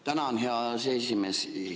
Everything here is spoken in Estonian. Tänan, hea aseesimees!